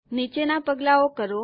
નીચેના પગલાંઓ કરો